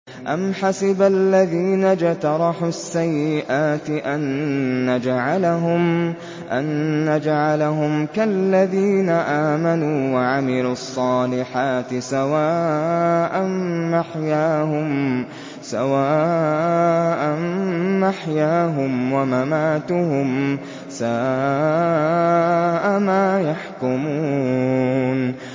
أَمْ حَسِبَ الَّذِينَ اجْتَرَحُوا السَّيِّئَاتِ أَن نَّجْعَلَهُمْ كَالَّذِينَ آمَنُوا وَعَمِلُوا الصَّالِحَاتِ سَوَاءً مَّحْيَاهُمْ وَمَمَاتُهُمْ ۚ سَاءَ مَا يَحْكُمُونَ